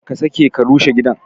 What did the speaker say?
Kar ka sake ka rushe gidan!